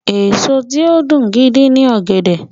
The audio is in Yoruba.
Èso tí ó dùn gidi ni ọ̀gẹ̀dẹ̀.